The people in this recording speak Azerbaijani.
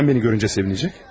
Nədən məni görüncə sevinəcək?